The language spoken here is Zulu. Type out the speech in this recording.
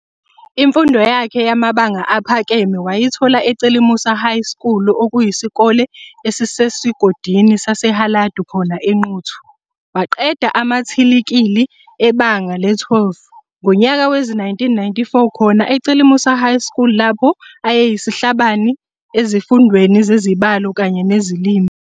Imfundo yakhe yamabanga aphakeme wayithola eCelumusa High School okuyisikole esisesigodini saseHaladu khona eNquthu. Waqeda umathiliki, ibanga le-12, ngonyaka wezi-1994 khona eCelumusa High School lapho ayeyisihlabani ezifundweni zeZibalo kanye nezeziLimi.